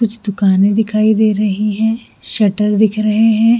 कुछ दुकाने दिखाई दे रही है सेंटर दिख रहे है।